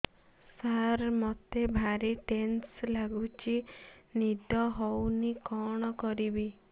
ସାର ମତେ ଭାରି ଟେନ୍ସନ୍ ଲାଗୁଚି ନିଦ ହଉନି କଣ କରିବି